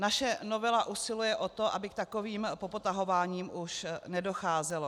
Naše novela usiluje o to, aby k takovým popotahováním už nedocházelo.